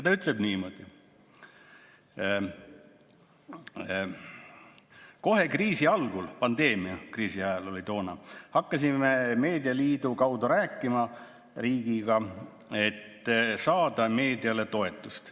Ta ütleb niimoodi: "Kohe kriisi algul hakkasime Meedialiidu kaudu rääkima riigiga, et saada meediale toetusi.